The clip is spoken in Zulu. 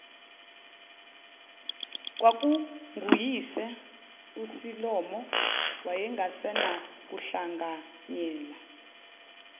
kwakunguyise usilomo wayengasenakuhlanganyela